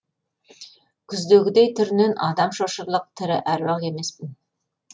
күздегідей түрінен адам шошырлық тірі әруақ емеспін